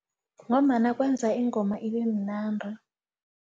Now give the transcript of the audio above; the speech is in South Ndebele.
Ngombana kwenza ingoma ibemnandi.